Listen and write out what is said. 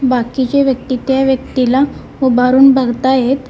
बाकीचे व्यक्ती त्या व्यक्तीला उभारून बघतायेत.